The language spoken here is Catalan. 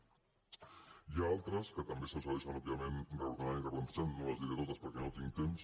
n’hi ha d’altres que també s’aconsegueixen òbviament reordenant i replantejant no les diré totes perquè no tinc temps